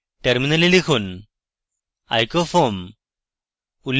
টার্মিনালে লিখুন icofoam